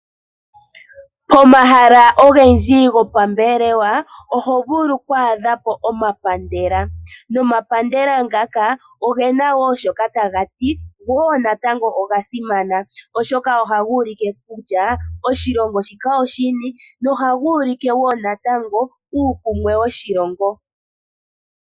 Pomahala ogendji hopambelewa oho vulu oku adha po omapandela nomapandela ngaka oge na wo shoka taga ti, go wo natango oga simana. Ohaga ulike kutya oshilongo shika oshini nohaga ulike wo natango uukumwe woshilongo.